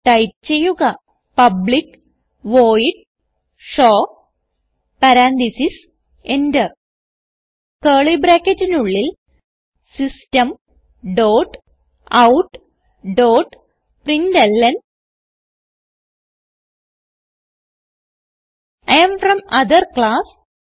type ചെയ്യുക public void show parenthesis Enter curly ബ്രാക്കറ്റിനുള്ളിൽ system dot out dot println I am from other class